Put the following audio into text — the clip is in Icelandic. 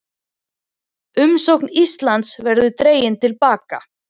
Umsókn Íslands verði dregin til baka